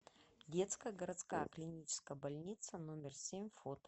детская городская клиническая больница номер семь фото